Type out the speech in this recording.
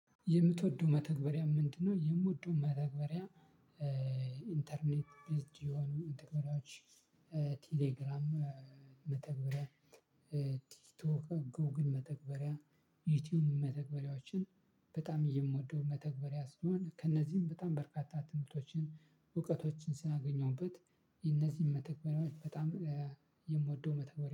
የምትወደው መተግበሪያ ምንድነው? የምወደው መተግበሪያ ኢንተርኔት ዩዝድ የሆኑ መተግበሪያዎች ቴሌግራም መተግበሪያ ቲክ ቶክ ጎግል መተግበሪያ ዩቲብ መተግበሪያዎችን በጣም የምወደው መተግበሪያ ስለሆነ ከእነዚህም በጣም በርካታ ትምህርቶችን እውቀቶችን ስላገኘሁበት። እነዚህን መተግበሪያዎች በጣም የምወደው መተግበሪያ